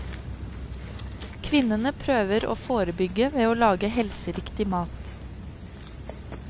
Kvinnene prøver å forebygge ved å lage helseriktig mat.